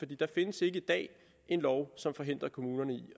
der findes ikke i dag en lov som forhindrer kommunerne i